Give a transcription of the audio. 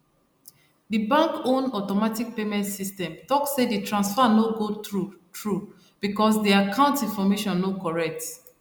di bank own automatic payment system talk say di transfer no go through through because di account information no correct